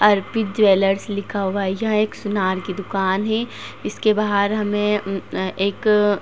अर्पित jewellers लिखा हुआ है। यह एक सुनार की दुकान है। इसके बाहर हमें उम्म अ एक --